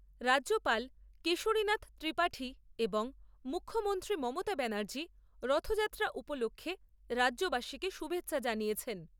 রাজ্যপাল কেশরীনাথ ত্রিপাঠী এবং মুখ্যমন্ত্রী মমতা ব্যানার্জী রথযাত্রা উপলক্ষে রাজ্যবাসীকে শুভেচ্ছা জানিয়েছেন।